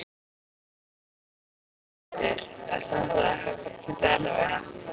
Hrund Þórsdóttir: Er þetta ekkert erfitt?